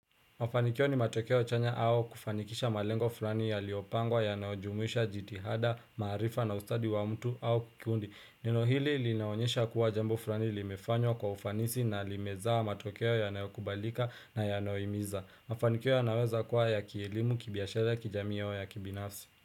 Mafanikio ni matokeo chanya au kufanikisha malengo fulani yaliyopangwa yanayojumuisha jitihada, maarifa na ustadi wa mtu au kikundi. Neno hili linaonyesha kuwa jambo fulani limefanywa kwa ufanisi na limezaa matokeo yanayokubalika na yanayohimiza. Mafanikio yanaweza kuwa ya kielimu, kibiashara, kijamii au ya kibinafsi.